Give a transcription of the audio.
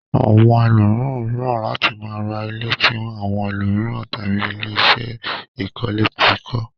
Àwọn ẹlòmíràn fẹ́ràn láti máa ra ilé tí àwọn ẹlòmíràn tàbí ilé-iṣé ìkọ́lẹ́ ti kọ́.